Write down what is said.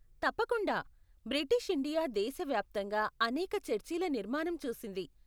తప్పకుండా, British India దేశ వ్యాప్తంగా అనేక చర్చిల నిర్మాణం చూసింది.